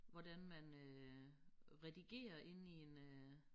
Hvordan man øh redigerer inde i en øh